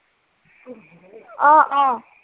অ, অ।